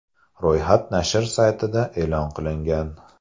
Ro‘yxat nashr saytida e’lon qilingan .